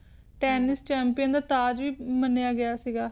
ਹਮ Tennis Champion ਦਾ ਤਾਜ ਵੀ ਮੰਨਿਆ ਗਯਾ ਸੀ ਗਯਾ